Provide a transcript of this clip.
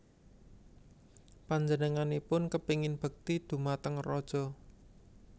Panjenenganipun kepengin bekti dhumateng raja